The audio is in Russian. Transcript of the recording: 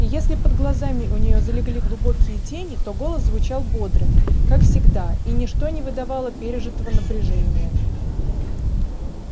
и если под глазами у неё залегли глубокие тени то голос звучал бодро как всегда и ничто не выдавало пережитого напряжения